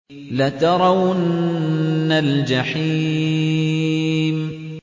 لَتَرَوُنَّ الْجَحِيمَ